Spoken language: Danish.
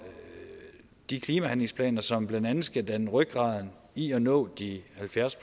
de klimahandlingsplaner som blandt andet skal danne rygraden i at nå de halvfjerds